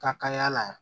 Ka kalaya la